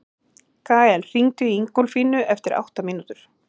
Gael, hringdu í Ingólfínu eftir átta mínútur.